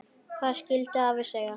Hvað skyldi afi segja?